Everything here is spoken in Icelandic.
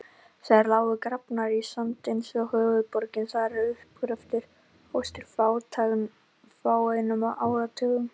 Þær lágu grafnar í sand eins og höfuðborgin þar til uppgröftur hófst fyrir fáeinum áratugum.